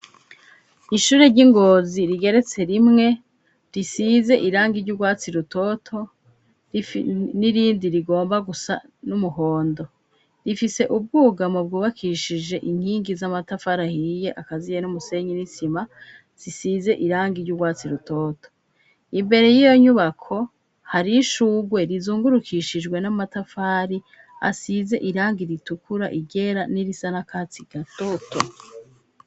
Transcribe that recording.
Ishure ry'ingozi rigeretse rimwe risize iranga iry'urwatsi rutoto n'irindi rigomba gusa n'umuhondo rifise ubwuga mu bwubakishije inkingi z'amatafari ahiye akaziye n'umusenyi nisima zisize iranga iry'urwatsi rutoto imbere y'iyo nyubako hari ishugwe rizungurukishijwe n'amatafari asize irangi ritukura igera n'irisa n'akatsi gatoto.